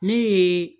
Ne ye